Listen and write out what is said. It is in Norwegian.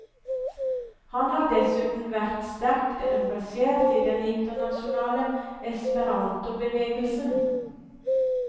Han har dessuten vært sterkt engasjert i den internasjonale esperantobevegelsen.